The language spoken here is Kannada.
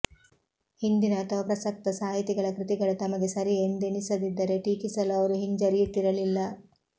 ಹಿಂದಿನ ಅಥವಾ ಪ್ರಸಕ್ತ ಸಾಹಿತಿಗಳ ಕೃತಿಗಳು ತಮಗೆ ಸರಿ ಎಂದೆನಿಸದಿದ್ದರೆ ಟೀಕಿಸಲೂ ಅವರು ಹಿಂಜರಿಯುತ್ತಿರಲಿಲ್ಲ